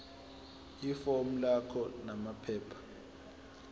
ifomu lakho namaphepha